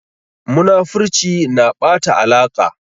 Munafurci na ɓata alaƙa.